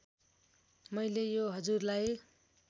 मैले यो हजुरलाई